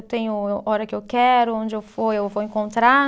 Eu tenho hora que eu quero, onde eu for, eu vou encontrar.